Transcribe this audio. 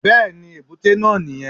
Bẹ́ẹ̀ni èbúté náà ní yẹn